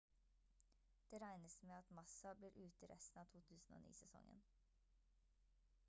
det regnes med at massa blir ute resten av 2009-sesongen